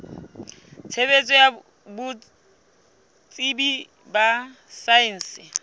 tshebetso ya botsebi ba saense